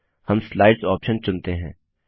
हम slides option चुनते हैं